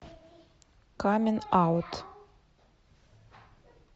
каминг аут